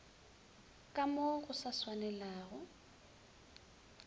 ka mo go sa swanelago